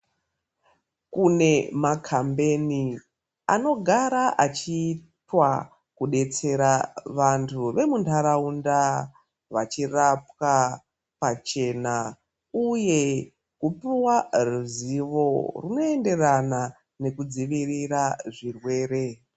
Kune makambeni anogara achiitwa kudetsera vantu vemuntaraunda vachirapwa pachena uye kupuwa ruzivo runo enderana nekudzivirira zvirwere.